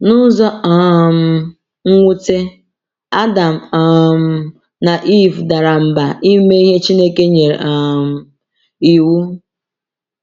N’ụzọ um nwute, Adam um na Ivụ dara mba ime ihe Chineke nyere um iwu.